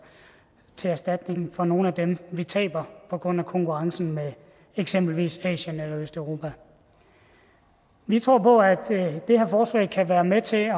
til erstatning for nogle af dem vi taber på grund af konkurrencen med eksempelvis asien eller østeuropa vi tror på at det her forslag kan være med til at